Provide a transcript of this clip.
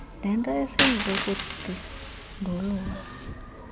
nento eseyize kundindulula